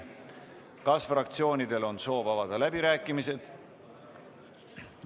Kas fraktsioonidel on soovi avada läbirääkimised?